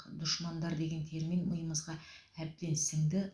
душмандар деген термин миымызға әбден сіңді